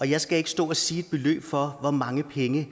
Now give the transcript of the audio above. jeg skal ikke stå og sige et beløb for hvor mange penge